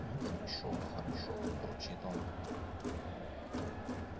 ну хорошо хорошо бурчит он